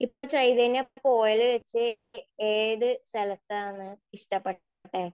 ഇപ്പൊ ചൈതന്യ പോയതിൽ വച്ച് ഏത് സ്ഥലത്താണ് ഇഷ്ടപ്പെട്ടത്?